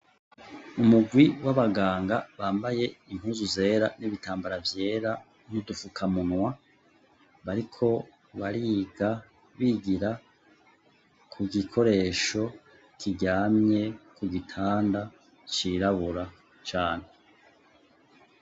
Umugwi w'abaganga bambaye impuzu zera n'ibitambara vyera n'udufukamunwa bariko bariga bigira ku gikoresho kiryamye ku gitanda cirabura cane.